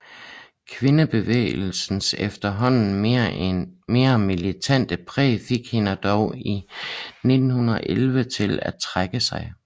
Kvindebevægelsens efterhånden mere militante præg fik hende dog i 1911 til at trække sig